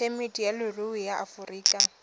phemiti ya leruri ya aforika